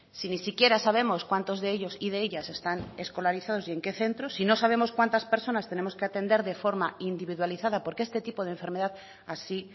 si ni siquiera sabemos cuántos de ellos y de ellas están escolarizados y en qué centros si no sabemos cuántas personas tenemos que atender de forma individualizada porque este tipo de enfermedad así